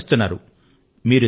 ప్రోత్సహిస్తున్నారు